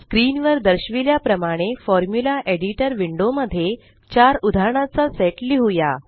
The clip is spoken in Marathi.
स्क्रीन वर दर्शविल्या प्रमाणे फॉर्म्युला एडिटर विंडो मध्ये 4उदाहरणाचा सेट लिहुया